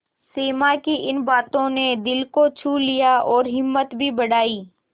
सिमा की इन बातों ने दिल को छू लिया और हिम्मत भी बढ़ाई